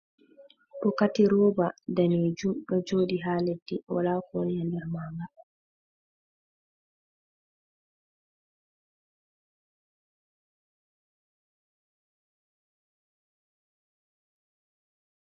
Bokoti roba danejum ɗo joɗi haa leddi wala ko woni haa nder maaga.